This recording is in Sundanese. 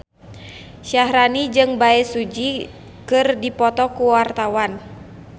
Syaharani jeung Bae Su Ji keur dipoto ku wartawan